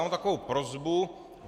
Mám takovou prosbu.